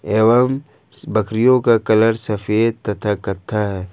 एवं बकरियों का कलर सफेद तथा करते है।